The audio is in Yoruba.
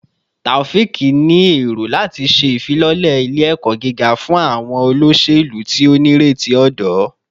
Taofiq ni ero lati ṣe ifilọlẹ ile-ẹkọ giga fun awọn oloselu ti o nireti ọdọ